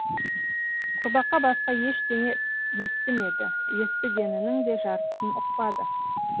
құрбақа басқа ештеңе естімеді естігенінің де жартысын ұқпады